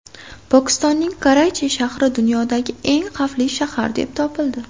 Pokistonning Karachi shahri dunyodagi eng xavfli shahar deb topildi.